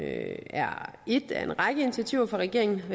er et af en række initiativer fra regeringens